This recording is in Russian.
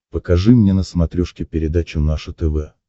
покажи мне на смотрешке передачу наше тв